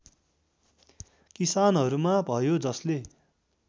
किसानहरूमा भयो जसले